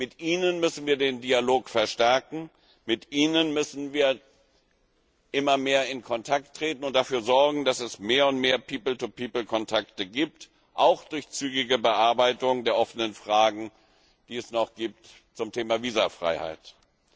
Mit ihnen müssen wir den Dialog verstärken, mit ihnen müssen wir immer mehr in Kontakt treten und dafür sorgen, dass es mehr und mehr people to people Kontakte gibt, auch durch zügige Bearbeitung der offenen Fragen, die es noch zum Thema Visafreiheit gibt.